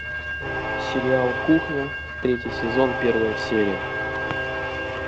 сериал кухня третий сезон первая серия